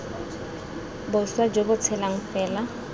boswa jo bo tshelang fela